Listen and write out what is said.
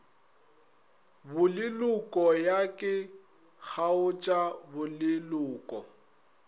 boleloko ya ke kgaotša boleloko